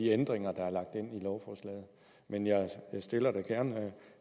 ændringer der er lagt ind i lovforslaget men jeg stiller da gerne